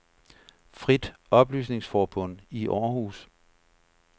Frit Oplysningsforbund I Århus